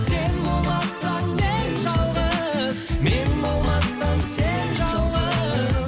сен болмасаң мен жалғыз мен болмасам сен жалғыз